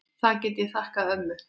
Það get ég þakkað ömmu.